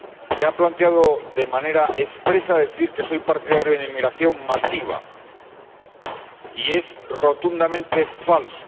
Se ha planteado de manera expresa decir que soy partidario de una inmigración masiva y es rotundamente falso.